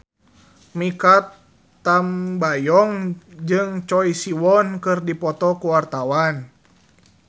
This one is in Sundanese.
Mikha Tambayong jeung Choi Siwon keur dipoto ku wartawan